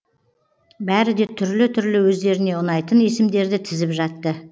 бәрі де түрлі түрлі өздеріне ұнайтын есімдерді тізіп жатты